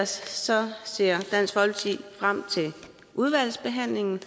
ser frem til udvalgsbehandlingen